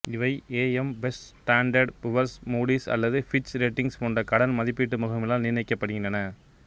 இவை A M Best Standard Poor's Moody's அல்லது Fitch ratings போன்ற கடன் மதிப்பீடு முகமைகளால் நிர்ணயிக்கப்படுகின்றன